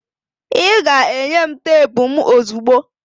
ị ga-enye m teepu m ozugbo!